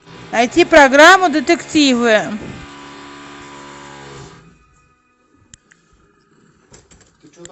найти программу детективы